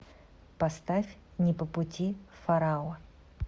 поставь не по пути фараон